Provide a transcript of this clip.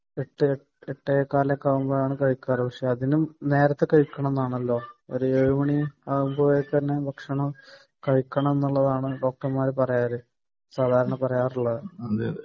ഒരു എട്ടു എട്ടേകാൽ ആവുമ്പോഴേക്കാണ് കഴിക്കാറ് പക്ഷെ അതിലും നേരെത്തെ കഴിക്കണം എന്നാണല്ലോ ഒരു ഏഴു മണി ആവുമ്പോഴേക്കും ഭക്ഷണം കഴിക്കണം എന്നാണല്ലോ ഡോക്ടർമാർ സാധാരണ പറയുന്നത്